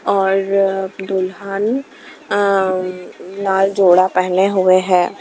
और दुल्हन अ-लाल जोड़ा पहने हुए हैं ।